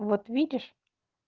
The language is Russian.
вот видишь